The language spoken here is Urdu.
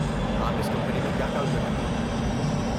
آپ اس کمپنی میں کیا کام کرتی تھیں؟